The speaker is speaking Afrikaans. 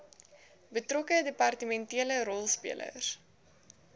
betrokke departementele rolspelers